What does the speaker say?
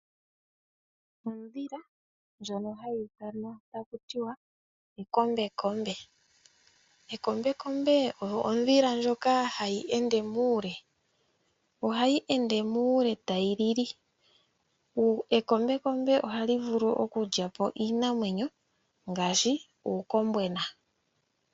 Ondhila ndjono hayi ithanwa takutiwa Ekombekombe. Ekombekombe oyo ondhila ndjono hayi ende muule. Ohayi ende muule tayi lili. Ekombekombe ohali vulu okulya po iinamwenyo ngaashi uukombwena.